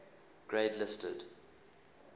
grade listed